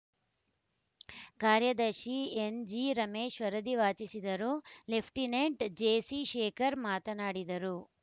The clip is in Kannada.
ಕಾರ್ಯದರ್ಶಿ ಎನ್‌ಜಿರಮೇಶ್‌ ವರದಿ ವಾಚಿಸಿದರು ಲೆಫ್ಟಿನೆಂಟ್‌ ಜೆಸಿಶೇಖರ್‌ ಮಾತನಾಡಿದರು